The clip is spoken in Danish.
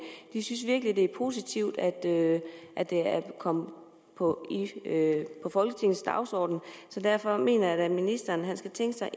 de synes virkelig at det er positivt at at det er kommet på folketingets dagsorden så derfor mener jeg da at ministeren skal tænke sig